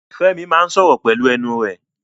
Fẹ́mi máa sọ̀rọ̀ pelu ẹnu rẹ̀